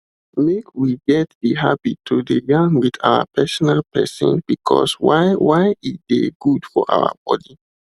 make we get the habit to de yarn with our personal persin because why why e de good for our body